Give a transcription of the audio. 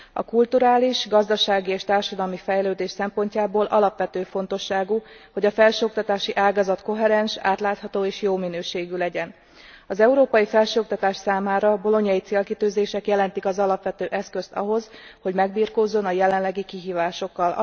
A kulturális, gazdasági és társadalmi fejlődés szempontjából alapvető fontosságú, hogy a felsőoktatási ágazat koherens, átlátható és jó minőségű legyen. Az európai felsőoktatás számára a bolognai célkitűzések jelentik az alapvető eszközt ahhoz, hogy megbirkózzon a jelenlegi kihívásokkal.